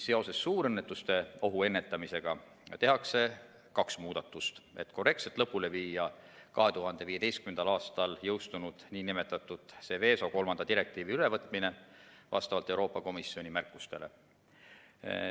Seoses suurõnnetuste ohu ennetamisega tehakse kaks muudatust, et korrektselt lõpule viia 2015. aastal jõustunud nn Seveso III direktiivi ülevõtmine vastavalt Euroopa Komisjoni märkustele.